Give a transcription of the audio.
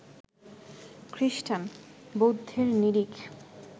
খ্রিস্টান, বৌদ্ধের নিরিখ